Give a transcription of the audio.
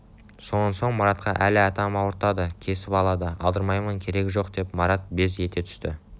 сонан соң маратқа әли атам ауыртады кесіп алады алдырмаймын керегі жоқ деп марат без ете түсті